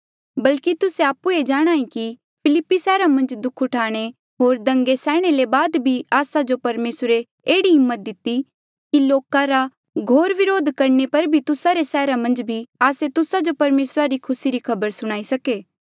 बल्की तुस्से आपु ई जाणहां ऐें कि फिलिप्पी सैहरा मन्झ दुःख उठाणे होर दंगे सैहणे ले बाद भी आस्सा जो परमेसरे एह्ड़ी हिम्मत दिती कि लोका रा घोर व्रोध करणे पर भी तुस्सा रे सैहरा मन्झ भी आस्से तुस्सा जो परमेसरा री खुसी री खबर सुणाई सके